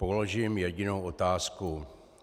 Položím jedinou otázku.